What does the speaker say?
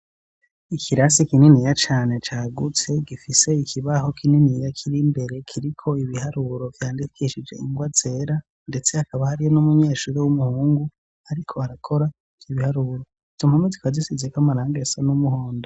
Ikirase kininiya cane cagutse, gifise ikibaho kininiya kiri mbere, kiriko ibiharuro vyandikishije ingwa zera. Ndetse hakaba hariyo n'umunyeshuri w'umuhungu ariko arakora ivyo biharuro. Izo mpome zikaba zisizeko amarangi asa n'umuhondo.